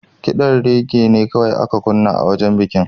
Ƙidan reggae ne kawai aka kunna a wajen bikinta.